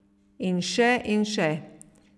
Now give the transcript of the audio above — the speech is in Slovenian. In še in še.